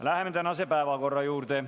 Läheme tänase päevakorra juurde.